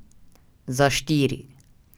Za štiri.